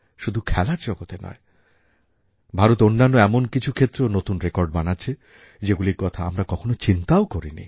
শুধু খেলার জগতে নয় ভারত অন্যান্য এমন কিছু ক্ষেত্রেও নূতন রেকর্ড বানাচ্ছে যেগুলির কথা আমরা কখনও চিন্তাও করিনি